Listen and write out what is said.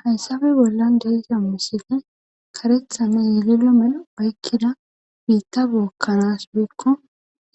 haysabe bolla deeziamusile karethame yililo men baykkida biitta bookkanas woykko